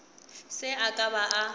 se a ka a ba